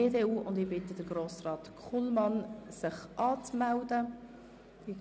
Verschiedene Einzelmassnahmen (Massnahme 48.6.3): Die Sparmassnahme ist um 25 Prozent zu erhöhen.